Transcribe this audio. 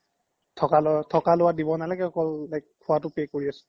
থকা লুৱা দিব নালাগে like অকল খুৱাতো pay কৰি আছো